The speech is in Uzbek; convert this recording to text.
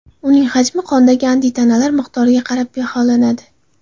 Uning hajmi qondagi antitanalar miqdoriga qarab baholanadi.